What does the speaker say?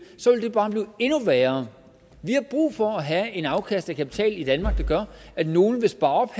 det bare blive endnu værre vi har brug for at have et afkast af kapital i danmark der gør at nogle vil spare op